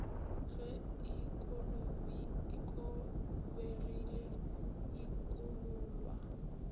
ge e kobegile e kobollwa